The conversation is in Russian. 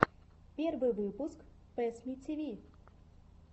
первый выпуск пэссмитиви